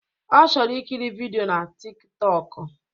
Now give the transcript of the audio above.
Ọ chọrọ ikiri vidịo na Tik tọk